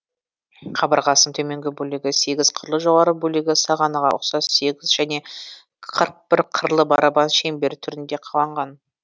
қабырғасының төменгі бөлігі сегіз қырлы жоғарғы бөлігі сағанаға ұқсас сегіз және қырық бір қырлы барабан шеңбері түрінде қаланған